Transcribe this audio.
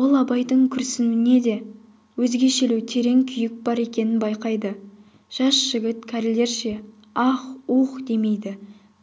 ол абайдың күрсінуінде өзгешелеу терең күйік бар екенін байқайды жас жігіт кәрілерше аһ-уһ демейді